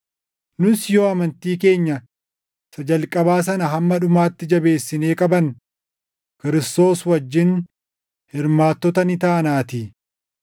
Nus yoo amantii keenya isa jalqabaa sana hamma dhumaatti jabeessinee qabanne Kiristoos wajjin hirmaattota ni taanaatii.